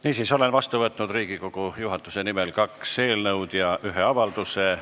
Niisiis, olen Riigikogu juhatuse nimel vastu võtnud kaks eelnõu ja ühe avalduse.